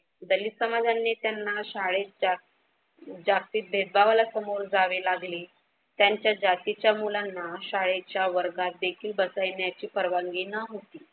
दलित समाजांनी त्यांना शाळेत जातीत भेदभावाला सामोरे जावे लागले. त्यांच्या जातीच्या मुलांना शाळेच्या वर्गात देखील बसण्याची परवानगी न्हवती.